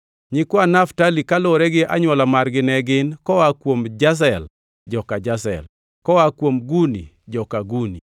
Nyikwa Naftali kaluwore gi anywola margi ne gin: koa kuom Jazel, joka Jazel; koa kuom Guni, joka Guni;